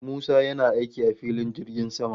Musa yana aiki a filin jirgin sama